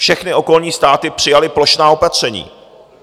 Všechny okolní státy přijaly plošná opatření.